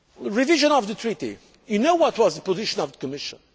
Revision of the Treaty you know what was the position of the Commission.